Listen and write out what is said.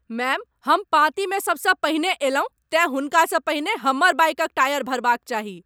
Ma'am, हम पाँती मे सबसँ पहिने अयलहुँ, तेँ हुनकासँ पहिने हमर बाइकक टायर भरबाक चाही।